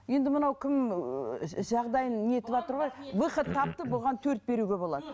енді мынау кім ііі жағдайын не етіватыр ғой выход тапты бұған төрт беруге болады